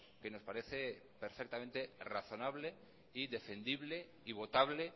que nos parece perfectamente razonable y defendible y votable